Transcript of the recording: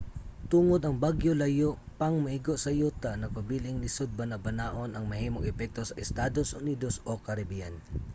tungod ang bagyo layo pang moigo sa yuta nagpabiling lisod banabanaon ang mahimong epekto sa estados unidos o caribbean